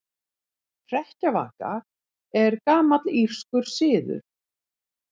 Hrekkjavaka er gamall írskur siður.